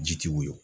Ji tɛ woyo